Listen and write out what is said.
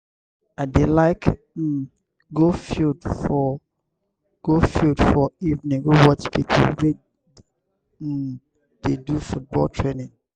i dey like um go field for go field for evening go watch pipo wey um dey do football training.